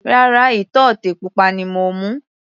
Rárá, ìtọ́tè pupa ni mo mú.